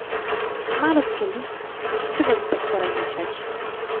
Malo skeli, krvavi pa skoraj nič več.